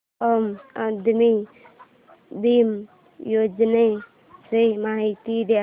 आम आदमी बिमा योजने ची माहिती दे